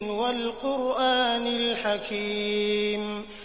وَالْقُرْآنِ الْحَكِيمِ